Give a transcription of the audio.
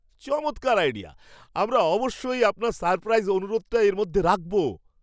চমৎকার আইডিয়া! আমরা অবশ্যই আপনার সারপ্রাইজ অনুরোধটা এর মধ্যে রাখবো।